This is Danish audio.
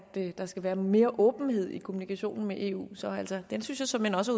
der skal være noget mere åbenhed i kommunikationen med eu så den synes jeg såmænd også